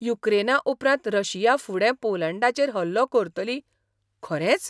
युक्रेना उपरांत रशिया फुडें पोलंडाचेर हल्लो करतली, खरेंच?